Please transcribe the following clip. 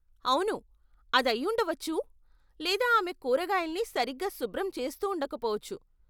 అవును, అదయ్యుండవచ్చు లేదా ఆమె కూరగాయల్ని సరిగ్గా శుభ్రం చేస్తూండకపోవచ్చు.